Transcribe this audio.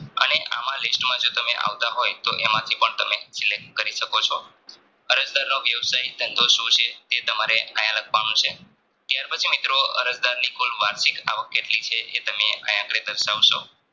અને આમ list માં જો આવતાંહોય તો એમાંથી પણ તમે Select કરી શકો છો અરજદારનો વ્યવશાય ધંધો શું છે એ તમારે આયા લખવાનું છે ત્યાર પછી મિત્રો અરજદારની કુલ વાર્ષિક આવક કેટલી છે એ તમે આયા આંધડે દરસાવશો